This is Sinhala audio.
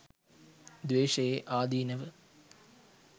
ද්වේශයේ ආදීනව